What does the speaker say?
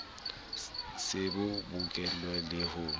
se bo bokeletswe le ho